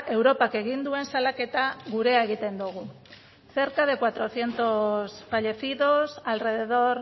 europak egin duen salaketa gurea egiten dugu cerca de cuatrocientos fallecidos alrededor